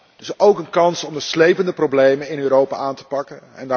Het is ook een kans om de slepende problemen in Europa aan te pakken.